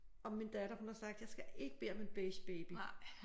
Og min datter hun har sagt jeg skal ikke bede om en beige baby